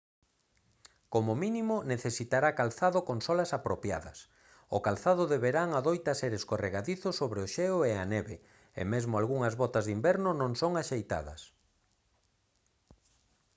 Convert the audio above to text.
como mínimo necesitará calzado con solas apropiadas o calzado de verán adoita ser escorregadizo sobre o xeo e a neve e mesmo algunhas botas de inverno non son axeitadas